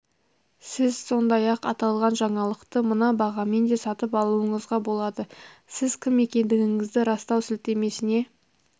сіз сондай-ақ аталған жаңалықты мына бағамен де сатып алуыңызға болады сіз кім екендігіңізді растау сілтемесіне